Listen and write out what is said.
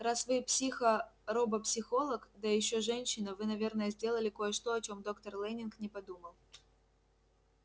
раз вы психо робопсихолог да ещё женщина вы наверное сделали кое-что о чем доктор лэннинг не подумал